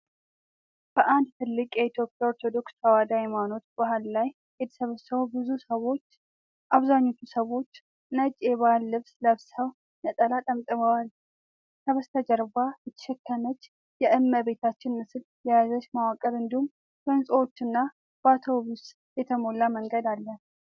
በአንድ ትልቅ የኢትዮጵያ ኦርቶዶክስ ተዋህዶ ሃይማኖት በዓል ላይ የተሰበሰቡ ብዙ ሰዎች። አብዛኞቹ ሰዎች ነጭ የባህል ልብስ ለብሰው ነጠላ ጠምጥመዋል። ከበስተጀርባ የተሸከመች የእመቤታችን ምስል የያዘ መዋቅር እንዲሁም በህንጻዎችና በአውቶቡስ የተሞላ መንገድ አለ።